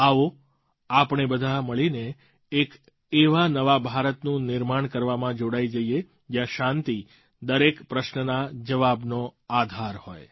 આવો આપણે બધાં મળીને એક એવા નવા ભારતનું નિર્માણ કરવામાં જોડાઈ જઈએ જ્યાં શાંતિ દરેક પ્રશ્નના જવાબનો આધાર હોય